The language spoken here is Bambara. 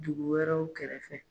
Dugu wɛrɛw kɛrɛfɛ